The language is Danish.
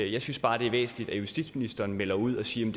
jeg synes bare det er væsentligt at justitsministeren melder ud og siger